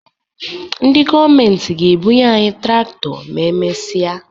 Ndị gọọmenti ga-ebunye anyị traktọ ma e mesịa